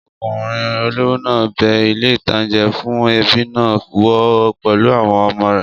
Ọkùnrin olówó náà bẹ ilé-ìtánjẹ fún ẹbí náà wò pẹ̀lú àwọn ọmọ rẹ̀